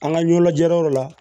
An ka ɲɛda yɔrɔ la